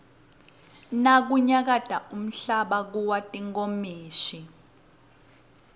nakunyakata umhlaba kuwa tinkomishi